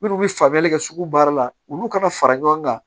Minnu bɛ faamuyali kɛ sugu baara la olu kana fara ɲɔgɔn kan